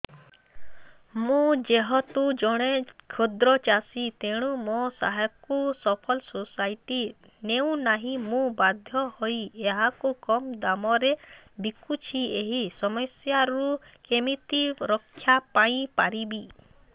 ମୁଁ ଯେହେତୁ ଜଣେ କ୍ଷୁଦ୍ର ଚାଷୀ ତେଣୁ ମୋ ଶସ୍ୟକୁ ଫସଲ ସୋସାଇଟି ନେଉ ନାହିଁ ମୁ ବାଧ୍ୟ ହୋଇ ଏହାକୁ କମ୍ ଦାମ୍ ରେ ବିକୁଛି ଏହି ସମସ୍ୟାରୁ କେମିତି ରକ୍ଷାପାଇ ପାରିବି